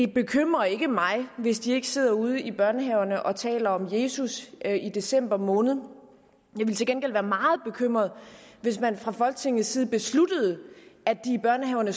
det bekymrer ikke mig hvis de ikke sidder ude i børnehaverne og taler om jesus i december måned jeg ville til gengæld være meget bekymret hvis man fra folketingets side besluttede at de i børnehaverne